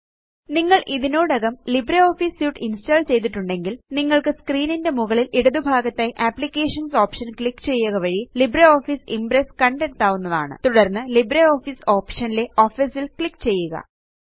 നിങ്ങള് ഇതിനോടകം LibreOffice suite install ചെയ്തിട്ടുണ്ടെങ്കില് നിങ്ങള്ക്ക് സ്ക്രീൻ ന്റെ മുകളില് ഇടതുഭാഗത്തായി അപ്ലിക്കേഷൻസ് ഓപ്ഷൻ ക്ലിക്ക് ചെയ്യുക വഴി ലിബ്രിയോഫീസ് ഇംപ്രസ് കണ്ടെത്താവുന്നതാണ് തുടര്ന്ന് ലിബ്രിയോഫീസ് ഓപ്ഷൻ ലെ ഓഫീസ് ല് ക്ലിക്ക് ചെയ്യുക